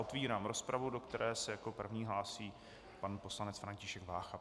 Otevírám rozpravu, do které se jako první hlásí pan poslanec František Vácha.